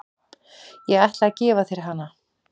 Ég ætla að gefa þér hana.